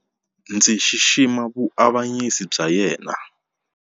Ndzi xixima vuavanyisi bya yena.